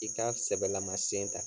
I ka sɛbɛlama sen ta.